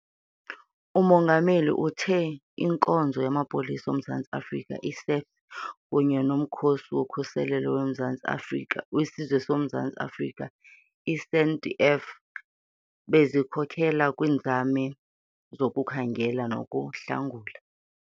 UMongameli uthe iNkonzo yaMapolisa oMzantsi Afrika, i-SAPS, kunye noMkhosi woKhuselo weSizwe woMzantsi Afrika, i-SANDF, bezikhokela kwiinzame zokukhangela nokuhlangula.